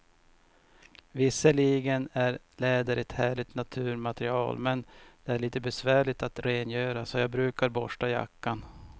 Visserligen är läder ett härligt naturmaterial, men det är lite besvärligt att rengöra, så jag brukar borsta jackan.